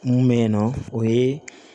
Mun bɛ yen nɔ o ye